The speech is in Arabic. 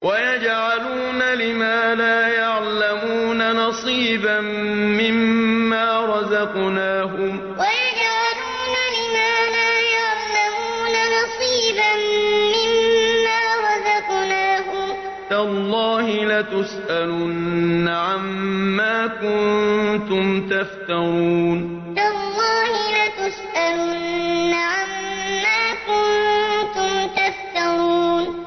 وَيَجْعَلُونَ لِمَا لَا يَعْلَمُونَ نَصِيبًا مِّمَّا رَزَقْنَاهُمْ ۗ تَاللَّهِ لَتُسْأَلُنَّ عَمَّا كُنتُمْ تَفْتَرُونَ وَيَجْعَلُونَ لِمَا لَا يَعْلَمُونَ نَصِيبًا مِّمَّا رَزَقْنَاهُمْ ۗ تَاللَّهِ لَتُسْأَلُنَّ عَمَّا كُنتُمْ تَفْتَرُونَ